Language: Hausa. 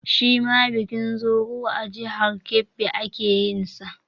Shi ma bikin Zuru a jihar Kebbi ake yin sa